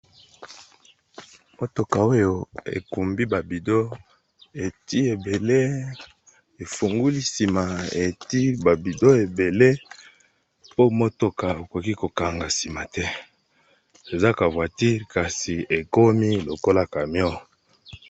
Motoka oyo ekumbi ba bidon eti ebele efunguli nsima eti ba bidon ebele, po motoka okoki ko kanga nsima te eza ka voiture kasi ekomi lokola camion.